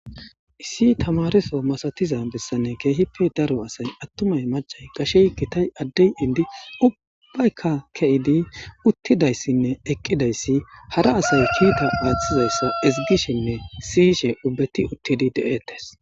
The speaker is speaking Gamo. Issi tamareso masatiza bessani keehippe daro asay atumayi ,mac'ayi , gashey, gitay, addey, inda ubbayka ke'id utidaysinne eqidaysi hara asiy kiita athizaysa ezigishenne siyishe ubbati utidi de'etessi.